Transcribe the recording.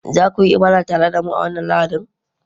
za ku yi ibada tare da mu a wannan Lahadin?